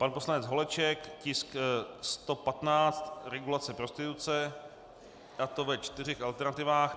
Pan poslanec Holeček, tisk 115, regulace prostituce, a to ve čtyřech alternativách.